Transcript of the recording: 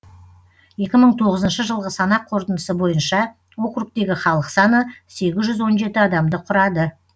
екі мың тоғызыншы жылғы санақ қорытындысы бойынша округтегі халық саны сегіз жүз он жеті адамды құрады